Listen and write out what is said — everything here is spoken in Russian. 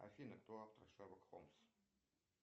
афина кто автор шерлок холмс